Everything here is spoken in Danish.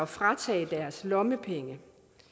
fratage dem deres lommepenge